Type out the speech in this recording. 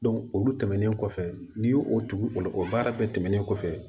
olu tɛmɛnen kɔfɛ n'i y'o o tugu o baara bɛɛ tɛmɛnnen kɔfɛ